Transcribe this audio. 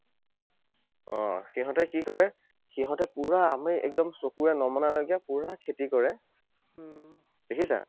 অঁহ, সিহঁতে কি কৰে? সিহঁতে পুৰা আমি একদম চকুৰে নমনালৈকে পুৰা খেতি কৰে। দেখিছা?